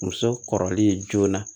Muso kɔrɔlen joona